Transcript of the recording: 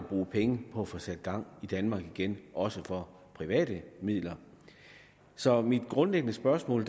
bruge penge på at få sat gang i danmark igen også for private midler så mit grundlæggende spørgsmål